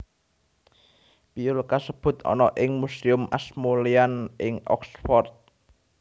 Piyul kasebut ana ing Museum Ashmolean ing Oxford